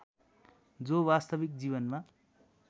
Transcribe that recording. जो वास्तविक जीवनमा